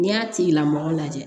N'i y'a tigilamɔgɔ lajɛ